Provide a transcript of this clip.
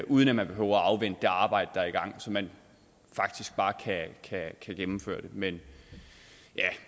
uden at man behøver afvente det arbejde der er i gang så man faktisk bare kan gennemføre det men